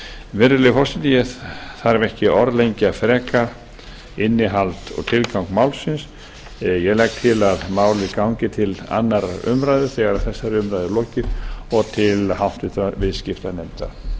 virðulegi forseti ég þarf ekki að orðlengja frekar innihald og tilgang málsins ég legg til að málið gangi til annarrar umræðu þegar þessari umræðu er lokið og til háttvirtrar viðskiptanefndar sem ég hygg að